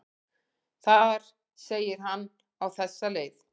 Þar segir hann á þessa leið: